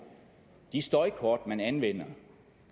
de støjkort man anvender